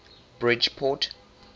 bridgeport